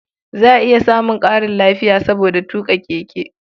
Za a iya samun ƙarin lafiya saboda tuƙa keke.